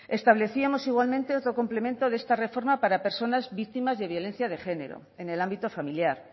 establecíamos igualmente otro complemento de esta reforma para personas víctimas de violencia de género en el ámbito familiar